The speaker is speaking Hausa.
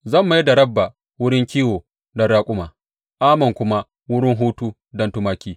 Zan mai da Rabba wurin kiwo don raƙuma, Ammon kuma wurin hutu don tumaki.